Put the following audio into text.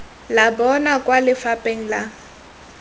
la bona kwa lefapheng la